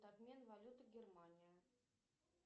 обмен валюты германия